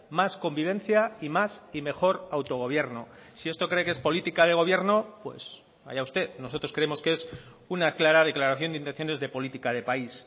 más convivencia y más y mejor autogobierno si esto cree que es política de gobierno pues allá usted nosotros creemos que es una clara declaración de intenciones de política de país